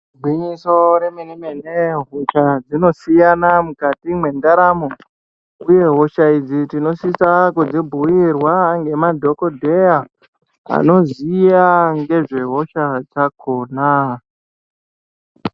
Igwinyiso remene-mene hosha dzinosiyana mukati mendaramo, uye hosha idzi tinosisa kudzibhuirwa ngemadhogodheya anoziya ngezvehosha dzakona.